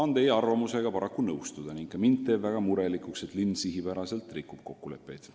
" Mul tuleb teie arvamusega paraku nõustuda ning ka mind teeb väga murelikuks, et linn sihipäraselt rikub kokkuleppeid.